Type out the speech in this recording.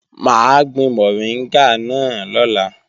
Mà á gbin mọ̀ríngà náà lọ́la